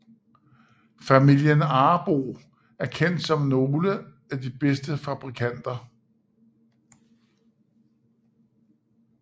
Familien Arboe er kendt som nogle af de bedste fabrikanter